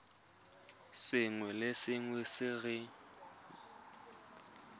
sengwe le sengwe se re